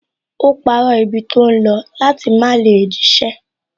Ó parọ́ ibi tó ń lọ láti má lè jíṣẹ́